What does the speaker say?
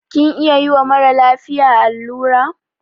Kin iya yiwa mara lafiya allura?